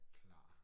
Klar